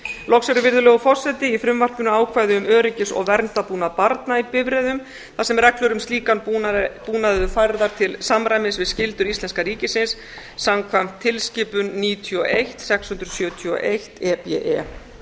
loks er virðulegur forseti í frumvarpinu ákvæði um öryggis og verndarbúnað barna í bifreiðum þar sem reglur um slíkan búnað eru færðar til samræmis við skyldur íslenska ríkisins samkvæmt tilskipun níutíu og eitt sex hundruð sjötíu og eitt e b e